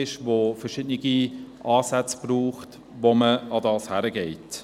Es braucht verschiedene Ansätze, um diesem Problem zu begegnen.